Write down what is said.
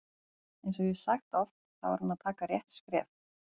Eins og ég hef sagt oft þá er hann að taka rétt skref.